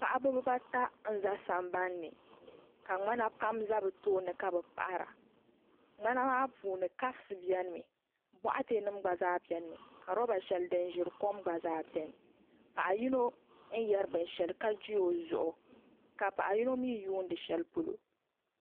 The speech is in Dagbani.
Paɣaba bibaata n za sambanni ka ŋmana pam za bɛ tooni ka bɛ paɣara ŋmana maa puuni kapsi biɛni mi boɣati nima gba zaa biɛni mi ka loba sheli din ʒiri kom gba zaa biɛni paɣa yino n yeri binsheli ka ji o zuɣu ka paɣa yino mee yuuni sheli polo.